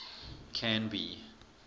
canby